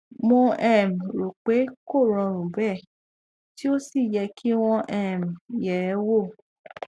mo um rò pé kò rọrùn bẹẹ tí ó sì yẹ kí wọn um yẹ ẹ wò